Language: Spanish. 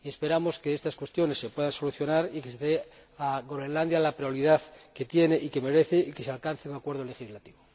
Esperamos que estas cuestiones se puedan solucionar, que se dé a Groenlandia la prioridad que tiene y que merece, y que se alcance un acuerdo legislativo.